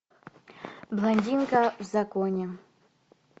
блондинка в законе